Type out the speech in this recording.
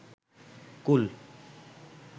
কুল